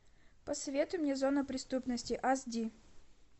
посоветуй мне зона преступности ас ди